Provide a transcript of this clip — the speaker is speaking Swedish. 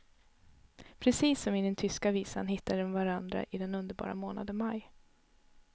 Precis som i den tyska visan, hittade de varandra i den underbara månaden maj.